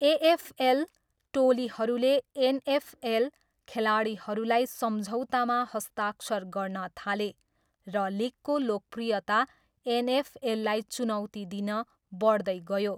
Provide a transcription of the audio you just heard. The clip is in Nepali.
एएफएल टोलीहरूले एनएफएल खेलाडीहरूलाई सम्झौतामा हस्ताक्षर गर्न थाले, र लिगको लोकप्रियता एनएफएललाई चुनौती दिन बढ्दै गयो।